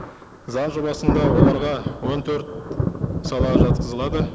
заң жобасында оларға он төрт сала жатқызылады